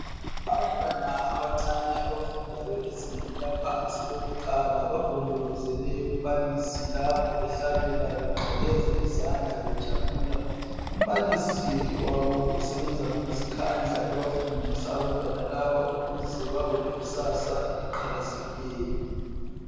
Abantwana abancane abafundayo ezingeni laphansi elokuqala bagombolozele umbalisi lapho behlabela, beqakeza izandla bejabula. Umbalisi wabo usebenza ngokuzikhandla ebafundisa abantwana laba ukuze babe lekusasa eliqhakazekileyo.